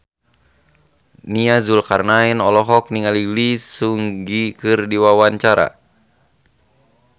Nia Zulkarnaen olohok ningali Lee Seung Gi keur diwawancara